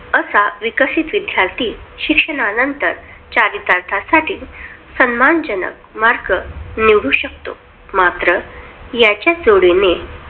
असा विकसित विदयार्थी शिक्षणानंतर चरित्र साठी सन्मानजनक mark निवडू शकतो. मात्र याच्या जोडीने